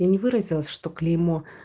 я не выразилась что клеймо